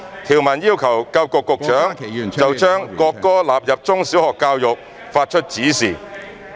條文要求教育局局長就將國歌納入中小學教育發出指示。